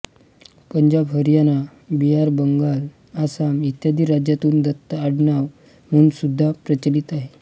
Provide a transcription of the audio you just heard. पंजाब हरियाणा बिहार बंगाल आसाम इत्यादी राज्यातून दत्त आडनाव म्हणून सुद्धा प्रचलीत आहे